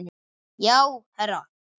Já, herra